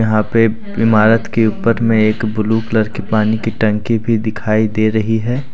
यहां पे इमारत के ऊपर में एक ब्लू कलर की पानी की टंकी भी दिखाई दे रही है।